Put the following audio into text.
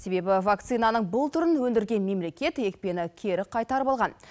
себебі вакцинаның бұл түрін өндірген мемлекет екпені кері қайтарып алған